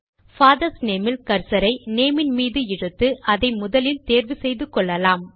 father's name ல் கர்சரை name ன் மீது இழுத்து அதை முதலில் தேர்வு செய்து கொள்ளலாம்